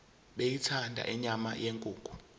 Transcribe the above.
beyithanda inyama yenkukhu